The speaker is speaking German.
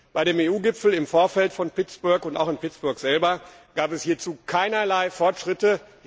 Bei dem EU Gipfel im Vorfeld von Pittsburgh und auch in Pittsburgh selbst gab es hierzu keinerlei Fortschritte.